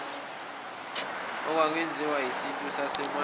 okwakwenziwa isintu sasemandulo